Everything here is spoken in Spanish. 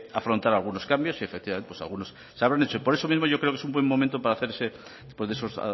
afrontar algunos cambios y efectivamente pues algunos se habrán hecho por eso mismo yo creo que es un buen momento para hacerse en esos